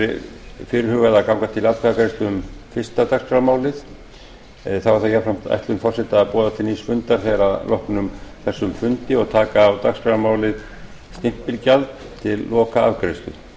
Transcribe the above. er fyrirhugað að ganga til atkvæðagreiðslu um fyrsta dagskrármálið þá er það jafnframt ætlun forseta að boða til nýs fundar að loknum þessum fundi og taka málið stimpilgjald til lokaafgreiðslu